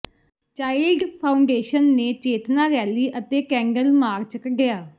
child foundation ਨੇ ਚੇਤਨਾ rally ਅਤੇ ਕੈਂਡਲ ਮਾਰਚ ਕੱਿਢਆ